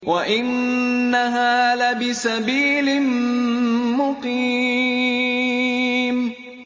وَإِنَّهَا لَبِسَبِيلٍ مُّقِيمٍ